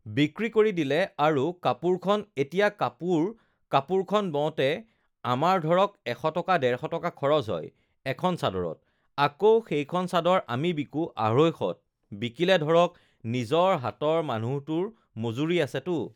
বিক্ৰী কৰি দিলে আৰু কাপোৰখন এতিয়া কাপোৰ কাপোৰখন বওঁতে আমাৰ ধৰক এশ টকা ডেৰশ টকা খৰচ হয় এখন চাদৰত আকৌ সেইখন চাদৰ আমি বিকোঁ আঢ়ৈশত বিকিলে ধৰক নিজৰ হাতৰ মানুহটোৰ মজুৰি আছেতো